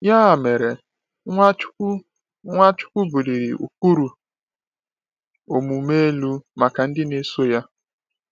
Ya mere, Nwachukwu Nwachukwu buliri ụkpụrụ omume elu maka ndị na-eso ya.